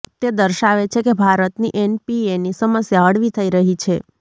તે દર્શાવે છે કે ભારતની એનપીએની સમસ્યા હળવી થઈ રહી છે